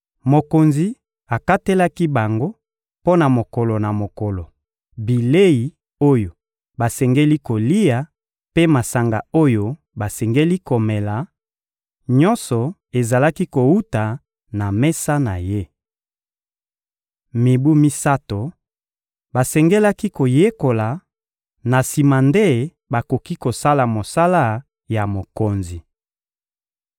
Mokonzi akatelaki bango mpo na mokolo na mokolo, bilei oyo basengeli kolia mpe masanga oyo basengeli komela: nyonso ezalaki kowuta na mesa na ye. Mibu misato, basengelaki koyekola; na sima nde bakoki kosala mosala ya mokonzi.